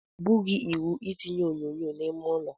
Ọ bụghị iwu I tinye onyonyo n'ime ụlọ.